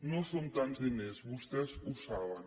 no són tants diners vostès ho saben